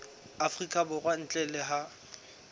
afrika borwa ntle le ha